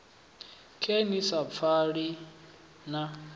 khe ni sa pfani na